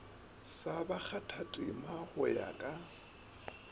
sa bakgathatema go ya ka